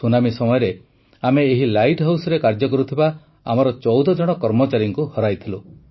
tsunami ସମୟରେ ଆମେ ଏହି ଲାଇଟ୍ ହାଉସ୍ରେ କାର୍ଯ୍ୟ କରୁଥିବା ଆମର ୧୪ ଜଣ କର୍ମଚାରୀଙ୍କୁ ହରାଇଥିଲୁ